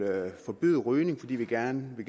forbyde rygning fordi vi gerne vil